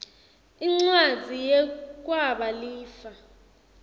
incwadzi yekwaba lifa